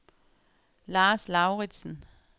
Lars Lauridsen